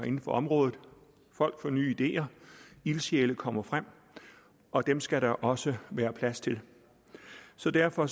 inden for området folk får nye ideer ildsjæle kommer frem og dem skal der også være plads til så derfor